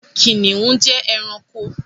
Kìnìún jẹ́ ẹranko.